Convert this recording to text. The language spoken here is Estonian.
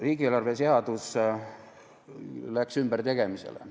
Riigieelarve seadus läks ümbertegemisele.